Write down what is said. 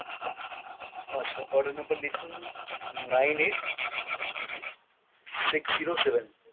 আচ্ছা order number লিখুন nine eight six zero seven।